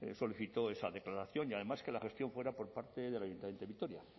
solicitó esa declaración y además que la gestión fuera por parte del ayuntamiento de vitoria